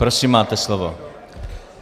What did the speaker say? Prosím, máte slovo.